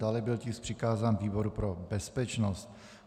Dále byl tisk přikázán výboru pro bezpečnost.